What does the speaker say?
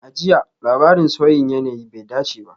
A jiya, labarin sauyin yanayi bai dace ba.